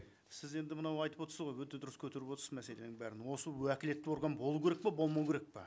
сіз енді мынау айтып отырсыз ғой өте дұрыс көтеріп отырсыз мәселенің бәрін осы уәкілетті орган болу керек пе болмау керек пе